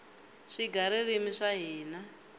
swigaririmi swa hina